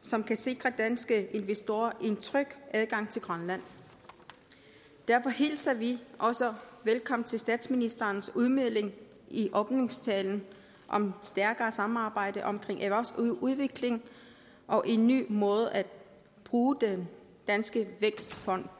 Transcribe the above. som kan sikre danske investorer en tryg adgang til grønland derfor hilser vi også statsministerens udmelding i åbningstalen om stærkere samarbejde omkring erhvervsudvikling og en ny måde at bruge den danske vækstfond